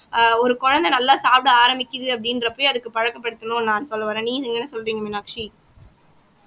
ஆஹ் ஒரு குழந்தை நல்லா சாப்பிட ஆரம்பிக்குது அப்படின்றப்பவே அதுக்கு பழக்கப்படுத்தணும்ன்னு நான் சொல்ல வர்றேன் நீங்க என்ன சொல்றீங்க மீனாட்சி